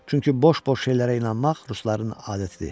Çünki boş-boş şeylərə inanmaq rusların adətidir.